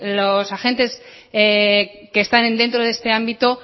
los agentes que están dentro de este ámbito